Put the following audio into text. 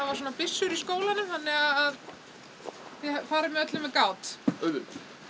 svona byssur í skólanum þannig að þið farið að öllu með gát auðvitað